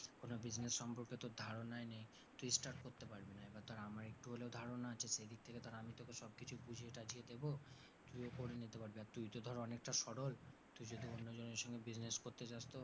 কোন business সম্পর্কে তোর ধারণাই নেই তুই start করতে পারবি না। এবার ধর আমার একটু হলেও ধারণা আছে সে দিক থেকে ধর আমি তোকে সব কিছু বুঝিয়ে টাঝিয়ে দেবো তুইও করে নিতে পারবি। আর তুই তো ধর অনেকটা সরল তুই যদি অন্যজনের সঙ্গে business করতে যাস তো,